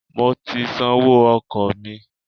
I have paid my transport fare